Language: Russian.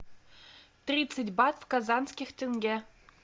тридцать бат в казахских тенге